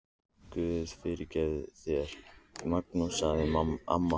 Guð fyrirgefi þér, Magnús, sagði amma.